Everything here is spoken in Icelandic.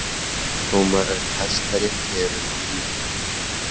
Dómarar í Hæstarétti eru nú níu